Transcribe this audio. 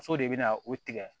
Muso de bɛ na o tigɛ